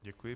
Děkuji.